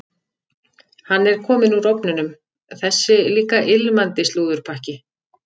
Hann er kominn úr ofninum, þessi líka ilmandi slúðurpakki.